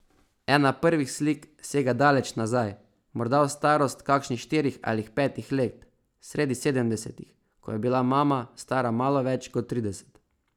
Ena prvih slik sega daleč nazaj, morda v starost kakšnih štirih ali petih let, sredi sedemdesetih, ko je bila mama stara malo več kot trideset.